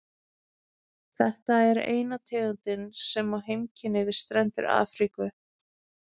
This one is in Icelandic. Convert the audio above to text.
þetta er eina tegundin sem á heimkynni við strendur afríku